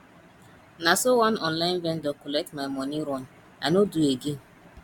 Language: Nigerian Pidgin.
na so one online vendor collect my moni run i no do again